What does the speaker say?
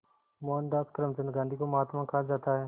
मोहनदास करमचंद गांधी को महात्मा कहा जाता है